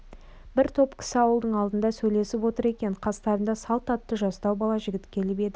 бір топ кісі ауылдың алдында сөйлесіп отыр екен қастарына салт атты жастау бала жігіт келіп еді